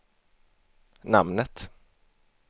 namnet